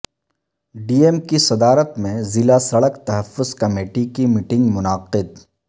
D M کی صدارت میں ضلع سڑک تحفظ کمیٹی کی میٹنگ منعقد